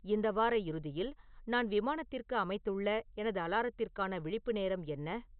இந்த வார இறுதியில் நான் விமானத்திற்கு அமைத்துள்ள எனது அலாரத்திற்கான விழிப்பு நேரம் என்ன